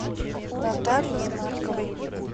наталье марковой